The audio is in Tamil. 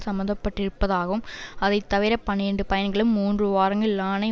சம்பந்தப்பட்டிருப்பதாகவும் அதை தவிர பனிரண்டு பையன்களும் மூன்று வாரங்கள் இலானை